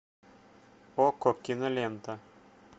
окко кинолента